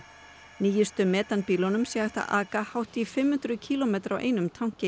nýjustu metanbílunum sé hægt að aka hátt í fimm hundruð kílómetra á einum tanki